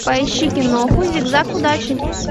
поищи киноху зигзаг удачи